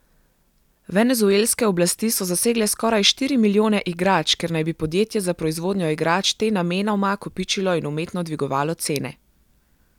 Venezuelske oblasti so zasegle skoraj štiri milijone igrač, ker naj bi podjetje za proizvodnjo igrač te namenoma kopičilo in umetno dvigovalo cene.